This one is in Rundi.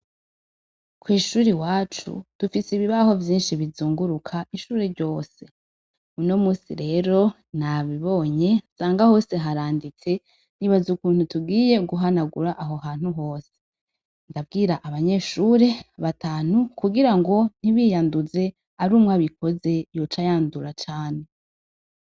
Kw’ ishuri iwacu dufise ibibaho vyishi bizunguruka ishuri ryose uno munsi rero nabibonye nsanga hose haranditse nibaza ukuntu tugiye guhanagura aho hantu hose, Ndabwira abanyeshuri batanu kugirango ntibiyanduze arumwe abikoze yoca yandura cane.